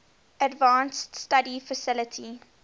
advanced study faculty